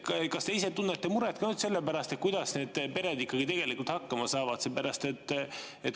Kas te ise tunnete muret ka sellepärast, kuidas need pered tegelikult hakkama saavad?